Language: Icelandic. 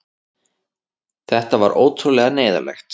Þetta var ótrúlega neyðarlegt.